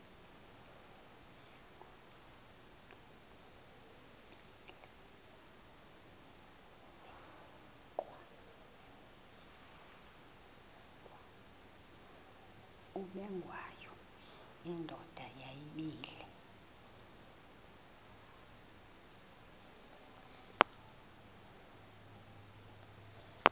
ubengwayo indoda yayibile